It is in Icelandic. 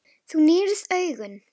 Þú nýrð augun.